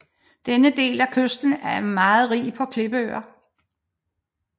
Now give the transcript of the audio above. Denne del af kysten er meget rig på klippeøer